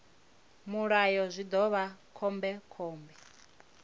mulayo zwi ḓo vha khombekhombe